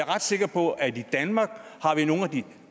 ret sikker på at vi i danmark har